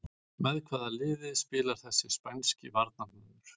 Með hvaða liði spilar þessi spænski varnarmaður?